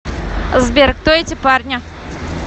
сбер кто эти парни